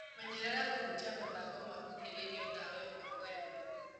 Menyerera kũhutia mathangũ mahuhĩrĩirwo ndawa ĩmwe kwemwe.